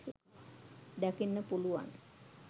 දකින්න පුළුවන්.